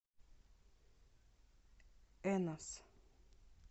энос